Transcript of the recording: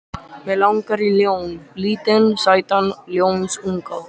Mig langar í ljón, lítinn sætan ljónsunga.